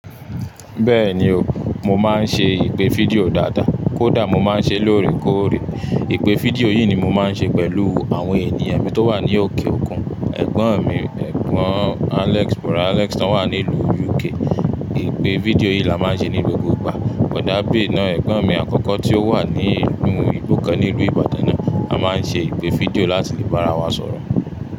Bẹ́ẹ̀ni o, mo máa ń ṣe ìpè fídíò dáadáa. Kódà mo máa ń ṣe lóòrèkóòrè. Ìpè fídíò yìí ni mo máa ń ṣe pẹ̀lú àwọn ènìyàn mi tó wà ní òkè òkun. Ẹ̀gbọ́n mi, ẹ̀gbọ́n Alex, bọ̀da Alex tó wà ní ìlú UK. Ìpè fídíò yìí là máà ń ṣe ní gbogbo ìgbà. Bòdá abe ná ẹ̀gbọ́n mi àkọ́kọ́ tí ó wà ní ìlú, inu igbokan ní ilú Ìbàdàn náà. A máa ń ṣe ìpè fídíò láti lè bára wa sọ̀rọ̀